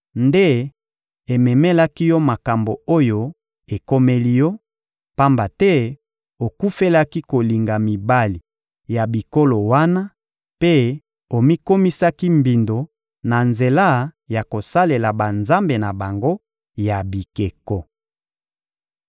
nde ememelaki yo makambo oyo ekomeli yo, pamba te okufelaki kolinga mibali ya bikolo wana mpe omikomisaki mbindo na nzela ya kosalela banzambe na bango ya bikeko.